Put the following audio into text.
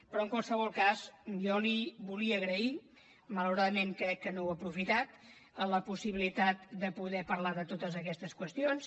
però en qualsevol cas jo li volia agrair malauradament crec que no ho ha aprofitat la possibilitat de poder parlar de totes aquestes qüestions